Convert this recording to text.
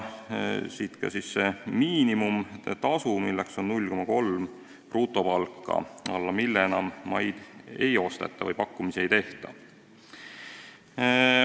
Siit ka see miinimumtasu, milleks on 0,3 keskmist brutopalka, alla mille enam maid ei osteta ega pakkumisi ei tehta.